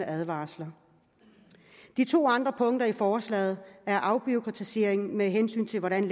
af advarsler de to andre punkter i forslaget er afbureaukratisering med hensyn til hvordan